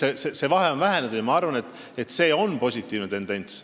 Nii et see vahe on vähenenud ja ma arvan, et see on positiivne tendents.